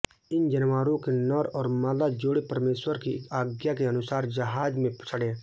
इन जानवरों के नर और मादा जोड़े परमेश्वर की आज्ञा के अनुसार जहाज में चढ़े